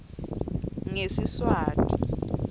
ngesiswati